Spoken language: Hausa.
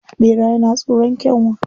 Ɓera yana tsoron Kyanwa